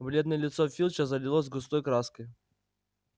бледное лицо филча залилось густой краской